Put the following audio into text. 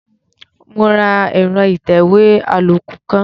Mo ra ẹ̀rọ ìtẹ̀wé àlòkù kan.